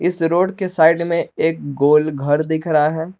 इस रोड के साइड में एक गोल घर दिख रहा है।